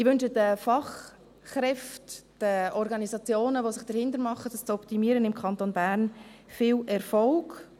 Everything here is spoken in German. – Ich wünsche den Fachkräften, den Organisationen, die sich dahinter machen, das im Kanton Bern zu optimieren, viel Erfolg.